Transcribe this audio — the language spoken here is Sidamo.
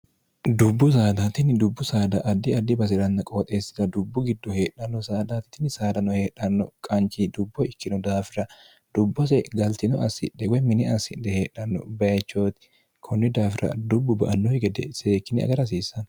dubbu saadaatinni dubbu saada addi addi basi'ranna qooxeessita dubbu giddo heedhanno saadaatitinni saadano heedhanno qanchi dubbo ikkino daafira dubbose galtino assidhewe mine assidhe heedhanno bayichooti kunni daafira dubbu ba annoi gede seekkine agara hasiissanno